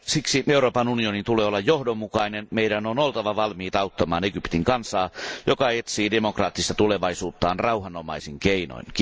Siksi Euroopan unionin tulee olla johdonmukainen, meidän on oltava valmiit auttamaan Egyptin kansaa, joka etsii demokraattista tulevaisuuttaan rauhanomaisin keinoin.